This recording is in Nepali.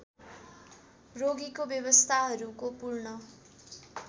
रोगीको व्यवस्थाहरूको पूर्ण